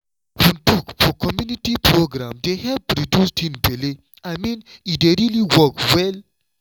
open talk for community program dey help reduce teen belle i mean e dey really work well.